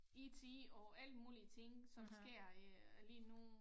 IT og alt mulige ting som sker øh lige nu